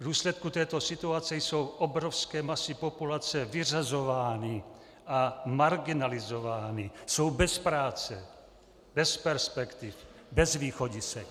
V důsledku této situace jsou obrovské masy populace vyřazovány a marginalizovány, jsou bez práce, bez perspektiv, bez východisek.